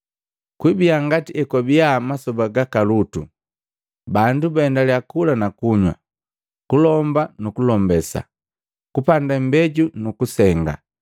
Kwibia ngati ekwabia mmasoba gaka Lutu. Bandu baendalya kula na kunywa, kulomba nu kulombesa, kupanda imbeju nu kusenga.